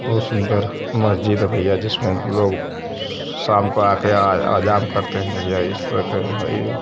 बहुत सुंदर मस्जिद है भैयाजी जिसमे लोग शाम को आकर आ आजाम करते हैं भैयाजी| इस वक्त --